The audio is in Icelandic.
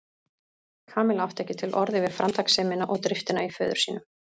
Kamilla átti ekki til orð yfir framtakssemina og driftina í föður sínum.